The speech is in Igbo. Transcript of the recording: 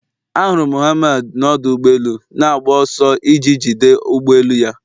Ahụrụ m Mohammad n'ọdụ ụgbọ elu na-agba ọsọ iji jide ụgbọ elu ya